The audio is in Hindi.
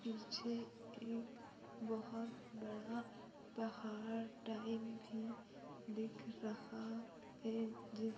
पीछे एक बहुत बड़ा पहाड़ टाइप भी दिख रहा है जे--